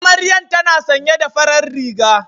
Amaryan tana sanye da farar riga